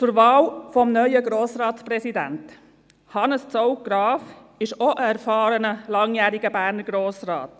Zur Wahl des neuen Grossratspräsidenten: Hannes Zaugg-Graf ist auch ein erfahrener, langjähriger bernischer Grossrat.